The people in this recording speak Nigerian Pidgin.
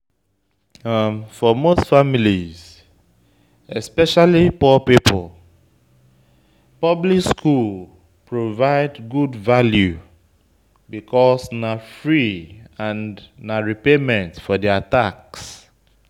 For most families, especially poor pipo, public schools provide good value because na free and na repayment for their tax